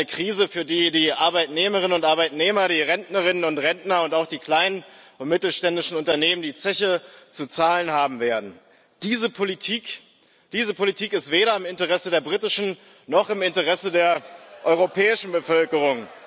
Eine Krise, für die die Arbeitnehmerinnen und Arbeitnehmer, die Rentnerinnen und Rentner und auch die kleinen und mittelständischen Unternehmen die Zeche zu zahlen haben werden. Diese Politik ist weder im Interesse der britischen noch im Interesse der europäischen Bevölkerung.